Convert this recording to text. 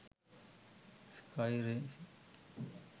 sky racing